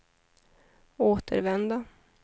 återvända